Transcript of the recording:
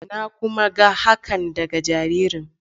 Na kuma ga hakan daga jaririn.